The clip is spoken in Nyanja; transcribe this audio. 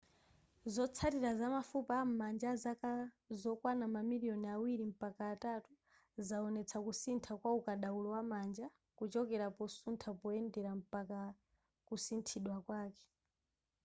zotsalira za mafupa am'manja azaka zokwana ma miliyoni awiri mpaka atatu zawonetsa kusintha kwa ukadaulo wa manja kuchokera posuntha poyendera mpaka kusinthidwa kwake